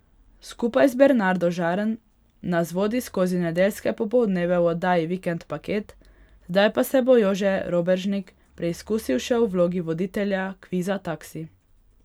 Skupaj z Bernardo Žarn nas vodi skozi nedeljske popoldneve v oddaji Vikend paket, zdaj pa se bo Jože Robežnik preizkusil še v vlogi voditelja kviza Taksi.